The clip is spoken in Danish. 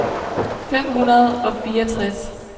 fem hundrede og fireogtres